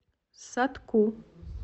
сатку